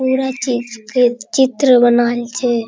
पूरा चीज के चित्र बनाएल छे |